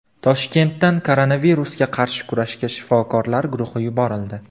Toshkentdan koronavirusga qarshi kurashga shifokorlar guruhi yuborildi.